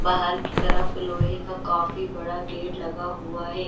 बाहर की तरफ लोहे का काफी बड़ा गेट लगा हुआ है।